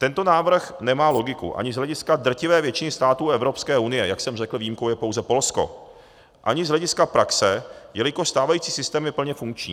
Tento návrh nemá logiku ani z hlediska drtivé většiny států Evropské unie - jak jsem řekl, výjimkou je pouze Polsko - ani z hlediska praxe, jelikož stávající systém je plně funkční.